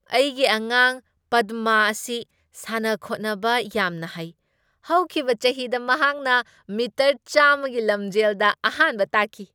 ꯑꯩꯒꯤ ꯑꯉꯥꯡ ꯄꯗꯃꯥ ꯑꯁꯤ ꯁꯥꯟꯅ ꯈꯣꯠꯅꯕꯗ ꯌꯥꯝꯅ ꯍꯩ꯫ ꯍꯧꯈꯤꯕ ꯆꯍꯤꯗ ꯃꯍꯥꯛꯅ ꯃꯤꯇꯔ ꯆꯥꯝꯃꯒꯤ ꯂꯝꯖꯦꯜꯗ ꯑꯍꯥꯟꯕ ꯇꯥꯈꯤ꯫